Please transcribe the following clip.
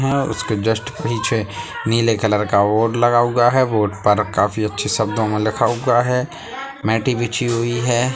यहां उसके जिस्ट पीछे नीले कलर का बोर्ड लगा हुआ है बोर्ड पर काफी अच्छे शब्दों में लिखा हुआ है मैटे बिछी हुई है।